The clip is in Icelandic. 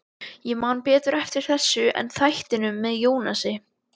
Ég man betur eftir þessu en þættinum með Jónasi.